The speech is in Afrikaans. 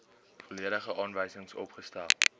volledige aanwysings opgestel